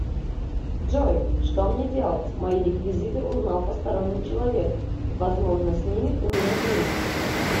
джой что мне делать мои реквизиты узнал посторонний человек возможно снимет у меня деньги